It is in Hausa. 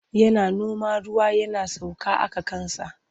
Yana noma ruwa yana sauka aka kansa.